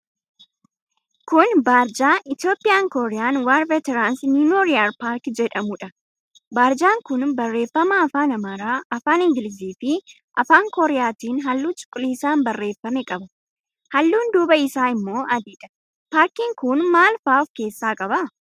Kun barjaa 'Ethiopian Korea War Veterans Memorial Park' jedhuudha. Barjaan kun barreeffama afaan Amaaraa, afaan Ingiliziifi afaan Kooriyaatiin halluu cuquliisaan barreeffame qaba. Halluun duubaa isaa immoo adiidha. Paarkiin kun maal faa of keessaa qaba?